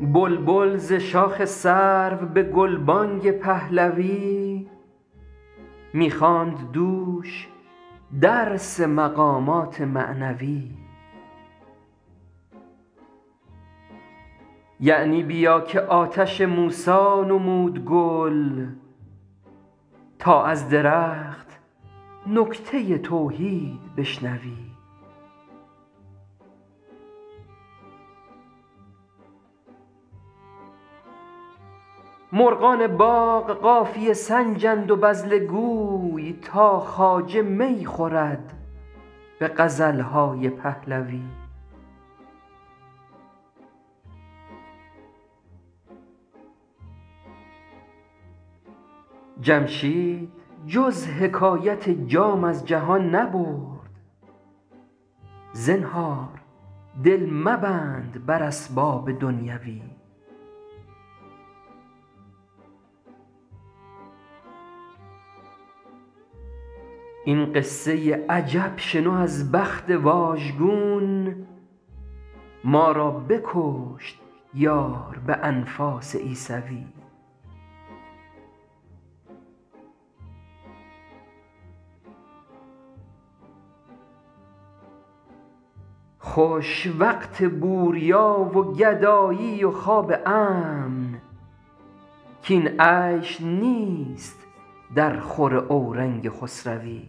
بلبل ز شاخ سرو به گلبانگ پهلوی می خواند دوش درس مقامات معنوی یعنی بیا که آتش موسی نمود گل تا از درخت نکته توحید بشنوی مرغان باغ قافیه سنجند و بذله گوی تا خواجه می خورد به غزل های پهلوی جمشید جز حکایت جام از جهان نبرد زنهار دل مبند بر اسباب دنیوی این قصه عجب شنو از بخت واژگون ما را بکشت یار به انفاس عیسوی خوش وقت بوریا و گدایی و خواب امن کاین عیش نیست درخور اورنگ خسروی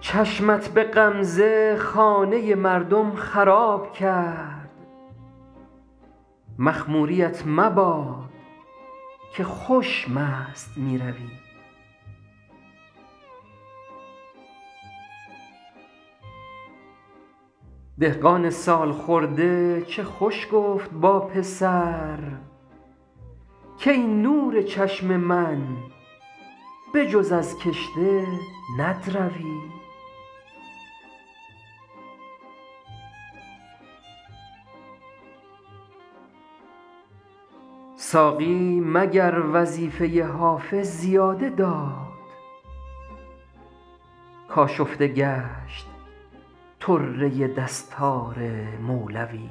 چشمت به غمزه خانه مردم خراب کرد مخموریـت مباد که خوش مست می روی دهقان سال خورده چه خوش گفت با پسر کای نور چشم من به جز از کشته ندروی ساقی مگر وظیفه حافظ زیاده داد کآشفته گشت طره دستار مولوی